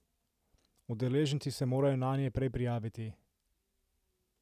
Udeleženci se morajo nanje prej prijaviti.